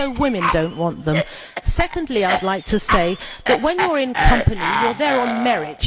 Women do not want them. Secondly, I would like to say that when you are in a company, you are there on merit.